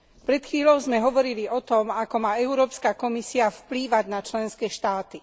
Pred chvíľou sme hovorili o tom, ako má Európska komisia vplývať na členské štáty.